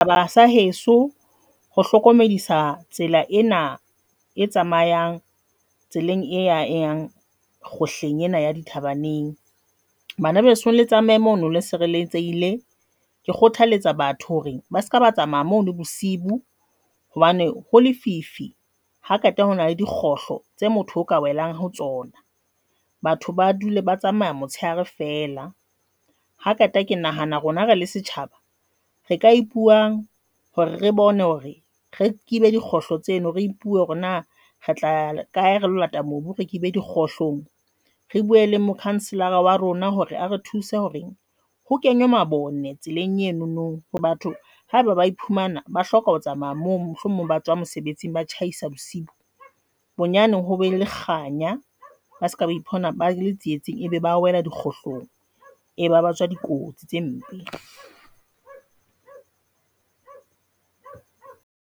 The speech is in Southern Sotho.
Setjhaba sa heso ho hlokomedisa tsela ena e tsamayang tseleng e yang, kgohleng ena ya dithabaneng bana besong le tsamaye mono le sireletsehile. Ke kgothaletsa batho hore ba se ka ba tsamaya mo le bosiu hobane ho lefifi ha qeta ho na le dikgohlo tse motho o ka welang ho tsona, batho ba dule ba tsamaya motshehare fela ha qeta ke nahana rona rele setjhaba re ka ipuang hore re bone hore re kibe dikgohlo tseno re ipuhe hore na re tla ya kae re lata mobu, re kibe dikgohlong re bue le mokhanselara wa rona hore a re thuse hore ho kenywe mabone tseleng eno no hore batho haba bae phumana ba hloka ho tsamaya mo mohlomong ba tswang mosebetsing, ba tjhaisa bosiu bo bonyane, ho be le kganya ba se ka ba ipona ba le tsietsing ebe ba wela di kgohlong e ba ba tswa dikotsi tse mpe.